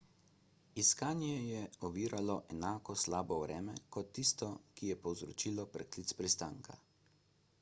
iskanje je oviralo enako slabo vreme kot tisto ki je povzročilo preklic pristanka